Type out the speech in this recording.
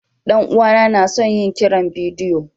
Dan uwana na son yin kiran bidiyo.